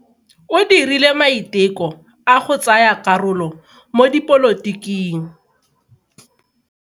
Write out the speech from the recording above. O dirile maiteko a go tsaya karolo mo dipolotiking.